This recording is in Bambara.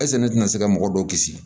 ne tɛna se ka mɔgɔ dɔw kisi